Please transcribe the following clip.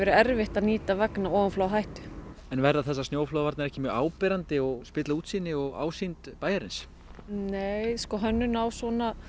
erfitt að nýta vegna ofanflóðahættu en verða þessar snjóflóðavarnir ekki mjög áberandi og spilla útsýni og ásýnd bæjarins nei hönnun á svona